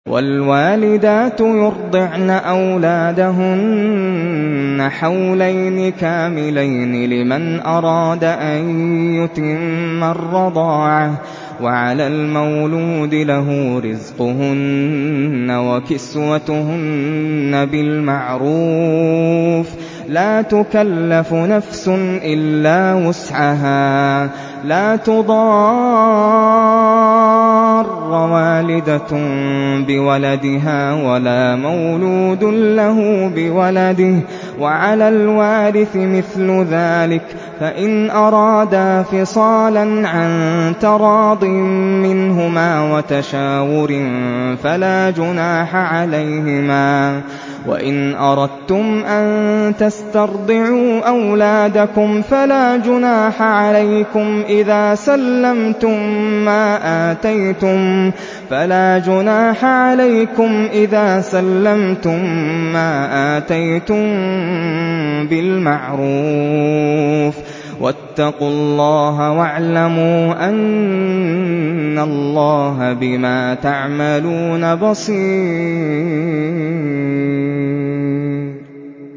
۞ وَالْوَالِدَاتُ يُرْضِعْنَ أَوْلَادَهُنَّ حَوْلَيْنِ كَامِلَيْنِ ۖ لِمَنْ أَرَادَ أَن يُتِمَّ الرَّضَاعَةَ ۚ وَعَلَى الْمَوْلُودِ لَهُ رِزْقُهُنَّ وَكِسْوَتُهُنَّ بِالْمَعْرُوفِ ۚ لَا تُكَلَّفُ نَفْسٌ إِلَّا وُسْعَهَا ۚ لَا تُضَارَّ وَالِدَةٌ بِوَلَدِهَا وَلَا مَوْلُودٌ لَّهُ بِوَلَدِهِ ۚ وَعَلَى الْوَارِثِ مِثْلُ ذَٰلِكَ ۗ فَإِنْ أَرَادَا فِصَالًا عَن تَرَاضٍ مِّنْهُمَا وَتَشَاوُرٍ فَلَا جُنَاحَ عَلَيْهِمَا ۗ وَإِنْ أَرَدتُّمْ أَن تَسْتَرْضِعُوا أَوْلَادَكُمْ فَلَا جُنَاحَ عَلَيْكُمْ إِذَا سَلَّمْتُم مَّا آتَيْتُم بِالْمَعْرُوفِ ۗ وَاتَّقُوا اللَّهَ وَاعْلَمُوا أَنَّ اللَّهَ بِمَا تَعْمَلُونَ بَصِيرٌ